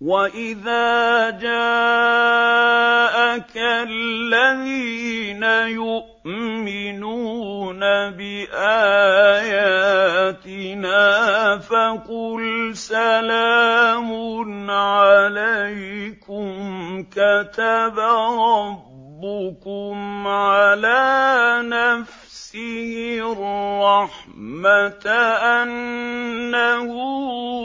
وَإِذَا جَاءَكَ الَّذِينَ يُؤْمِنُونَ بِآيَاتِنَا فَقُلْ سَلَامٌ عَلَيْكُمْ ۖ كَتَبَ رَبُّكُمْ عَلَىٰ نَفْسِهِ الرَّحْمَةَ ۖ أَنَّهُ